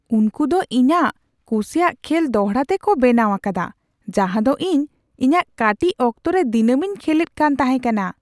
ᱩᱝᱠᱩ ᱫᱚ ᱤᱧᱟᱜ ᱠᱩᱥᱤᱭᱟᱜ ᱠᱷᱮᱞ ᱫᱚᱲᱦᱟ ᱛᱮᱠᱚ ᱵᱮᱱᱟᱣ ᱟᱠᱟᱫᱟ ᱡᱟᱦᱟ ᱫᱚ ᱤᱧ ᱤᱧᱟᱜ ᱠᱟᱹᱴᱤᱡ ᱚᱠᱛᱚ ᱨᱮ ᱫᱤᱱᱟᱹᱢᱤᱧ ᱠᱷᱮᱞᱮᱫ ᱠᱟᱱ ᱛᱟᱦᱮᱠᱟᱱᱟ !